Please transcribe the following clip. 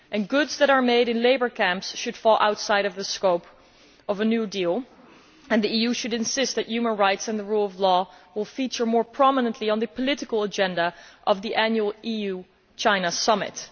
Goods that are made in labour camps should fall outside of the scope of a new deal, and the EU should insist that human rights and the rule of law feature more prominently on the political agenda of the annual EU China Summit.